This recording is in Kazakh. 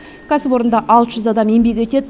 кәсіпорында алты жүз адам еңбек етеді